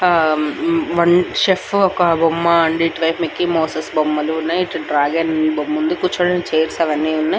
ఆహ్ um one chef బొమ్మ and Mickey Mouse బొమ్మలు ఇటు డ్రాగన్ బొమ్మలు ఉన్నాయి కూర్చోడానికి చైర్స్ అవి అన్ని ఉన్నాయి.